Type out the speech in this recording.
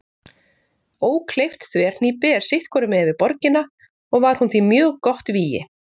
Ókleift þverhnípi er sitt hvorum megin við borgina og var hún því mjög gott vígi.